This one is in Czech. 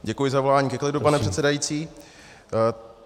Děkuji za volání ke klidu, pane předsedající.